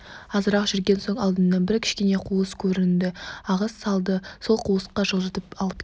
азырақ жүрген соң алдымнан бір кішкене қуыс көрінді ағыс салды сол қуысқа жылжытып алып келді